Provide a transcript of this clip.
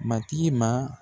Matigi ma.